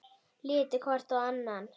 Litu hvor á annan.